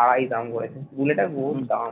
আড়াই দাম করেছে বুলেটের বহুত দাম